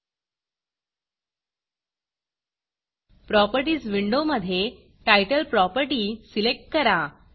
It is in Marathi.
Propertiesप्रॉपर्टीस विंडोमधे Titleटाइटल प्रॉपर्टी सिलेक्ट करा